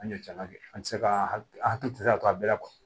An ye caman kɛ an tɛ se ka hakili a tigi tɛ se ka to a bɛɛ la